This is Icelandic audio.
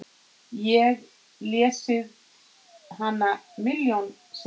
Ég lesið hana milljón sinnum.